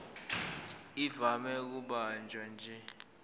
ivame ukubanjwa nje